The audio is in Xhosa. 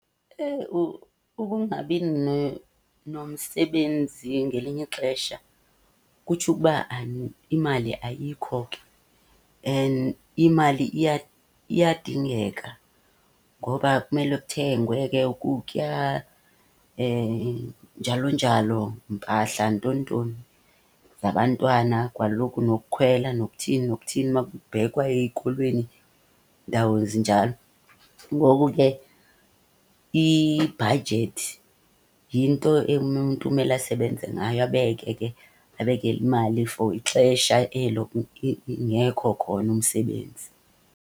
Ukungabi nomsebenzi ngelinye ixesha kutsho ukuba imali ayikho ke. And imali iyadingeka ngoba kumele kuthengwe ke ukutya njalo njalo, mpahla ntoni ntoni zabantwana. Kaloku nokukhwela nokuthini nokuthini makubhekwa eyikolweni iindawo ezinjalo. Ngoku ke ibhajethi yinto emnyumntu mele asebenze ngayo, abeke ke babeke imali for ixesha elo ingekho khona umsebenzi.